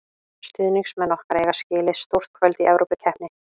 Stuðningsmenn okkar eiga skilið stór kvöld í Evrópukeppni.